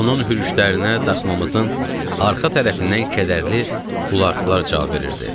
Onun hürüşlərinə daxmamızın arxa tərəfindən kədərli ulartılar cavab verirdi.